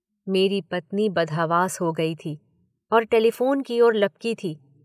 मेरी पत्नी बदहवास हो गई थी और टेलीफोन की ओर लपकी थी।